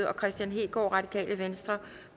og kristian hegaard